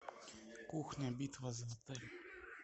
кухня битва за отель